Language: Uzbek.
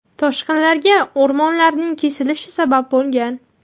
Toshqinlarga o‘rmonlarning kesilishi sabab bo‘lgan.